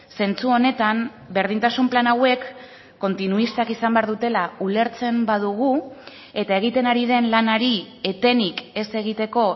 zentzu honetan berdintasun plan hauek kontinuistak izan behar dutela ulertzen badugu eta egiten ari den lanari etenik ez egiteko